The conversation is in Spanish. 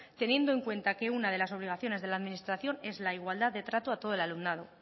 teniendo en cuenta que una de las obligaciones de la administración es la igualdad de trato a todo el alumnado